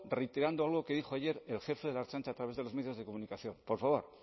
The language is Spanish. reiterando algo que dijo ayer el jefe de la ertzaintza a través de los medios de comunicación por favor